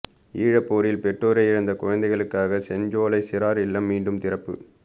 ஈழப் போரில் பெற்றோரை இழந்த குழந்தைகளுக்காக செஞ்சோலை சிறார் இல்லம் மீண்டும் திறப்பு